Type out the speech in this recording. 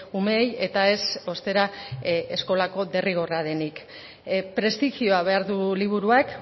umeei eta ez ostera eskola derrigorra denik prestigioa behar du liburuak